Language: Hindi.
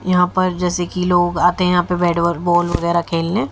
यहां पर जैसे कि लोग आते है यहां पर बैट बॉल वगैरा खेलने।